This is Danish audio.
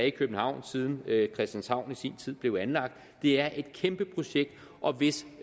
i københavn siden christianshavn i sin tid blev anlagt det er et kæmpe projekt og hvis